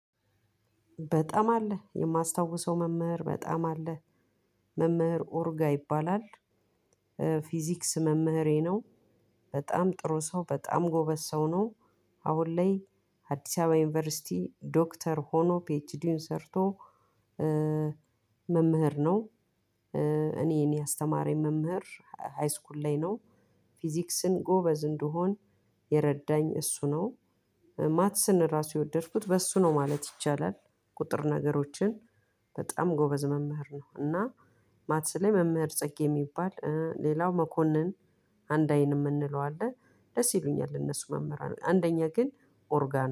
በጣም አለ የማስታውሰው መምህር በጣም አለ መምህር ኦርጋ ይባላል። ፊዚክስ መምህሬ ነው። በጣም ጥሩ ሰው በጣም ጎበዝ ሰው ነው። አሁን ላይ አዲስ አበባ ዩኒቨርሲቲ ዶክተር ሆኖ ፒኤችዲውን ሰርቶ። መምህር ነው። እኔን ያስተማረኝ መምህር ሃይስኩል ላይ ነው። ፊዚክስን ጎበዝ እንድሆን የረዳኝ እሱ ነው። ማትስን ራሱ የወደድኩት በእሱ ነው ማለት ይቻላል። ቁጥር ነገሮችን በጣም ጎበዝ መምህር ነው። እና ማትስ ላይ መምህር ጽጌ የሚባል ሌላው መኮነን። አንድ አይን የምንለው አለ። ደስ ይሉኛል እነሱ መምህራን አንደኛ ግን ኦርጋን